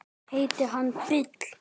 Heitir hann Bill?